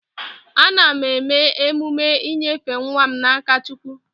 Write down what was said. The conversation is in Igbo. Ana m eme emume inyefe nwa m na-aka Chukwu.